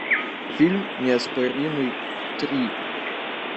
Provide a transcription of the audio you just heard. фильм неоспоримый три